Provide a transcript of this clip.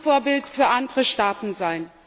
Das muss Vorbild für andere Staaten sein.